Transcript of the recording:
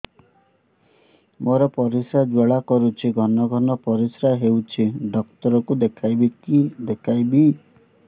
ମୋର ପରିଶ୍ରା ଜ୍ୱାଳା କରୁଛି ଘନ ଘନ ପରିଶ୍ରା ହେଉଛି ଡକ୍ଟର କୁ ଦେଖାଇବି